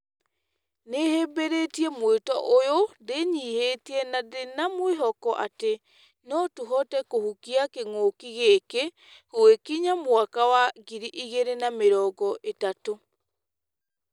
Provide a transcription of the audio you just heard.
"Nĩhĩmbĩrĩtie mwĩto ũyũ ndĩnyihĩtie na ndĩna mwĩhoko, atĩ notũhote kũhukia kĩng'ũki gĩkĩ gũgĩkinya mwaka wa ngiri igĩrĩ na mĩrongo ĩtatũ.